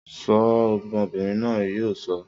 Sọ́ ọ! Ọmọbìnrin náà yóò sọ.